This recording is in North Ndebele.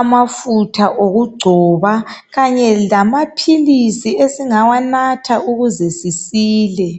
amafutha okugcoba kanye lamaphilisi esingawanatha ukuze sisile